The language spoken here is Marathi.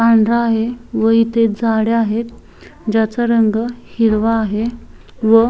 पांढरा आहे व इथे झाडे आहेत ज्याचा रंग हिरवा आहे व --